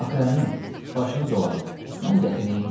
Axı əmi, başını dolanım, mən dəxi neyləyim?